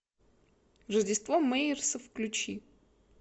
рождество мэйерсов включи